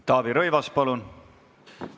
Taavi Rõivas, palun!